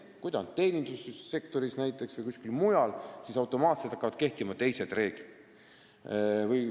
Kui ta töötab näiteks teenindussektoris või kuskil mujal sellises kohas, siis hakkavad automaatselt kehtima teised reeglid.